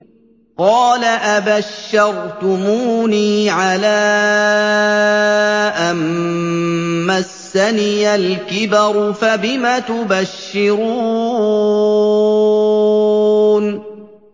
قَالَ أَبَشَّرْتُمُونِي عَلَىٰ أَن مَّسَّنِيَ الْكِبَرُ فَبِمَ تُبَشِّرُونَ